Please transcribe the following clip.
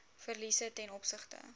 verliese ten opsigte